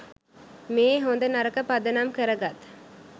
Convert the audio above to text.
මේ හොඳ නරක පදනම් කරගත්